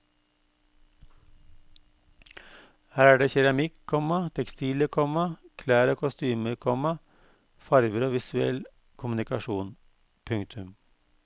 Her er det keramikk, komma tekstiler, komma klær og kostymer, komma farver og visuell kommunikasjon. punktum